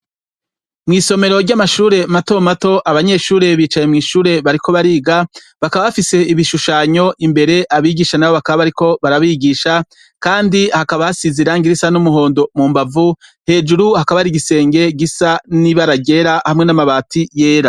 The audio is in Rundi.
Mw'isomero ry'amashure matomato abanyeshure bicaye mw'ishure bariko bariga, bakaba bafise ibishushanyo imbere abigisha na bo bakaba bariko barabigisha, kandi hakaba hasize irangi risa n'umuhondo mu mbavu, hejuru hakaba hari igisenge gisa n'ibara ryera hamwe n'amabati yera.